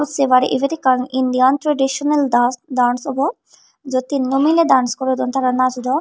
sebar ebet ekkan Indian traditional dance dance obo jiyot tinno mileh dance gorodon tara najodon.